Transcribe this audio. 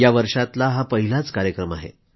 या वर्षातला हा पहिलाच कार्यक्रम आहे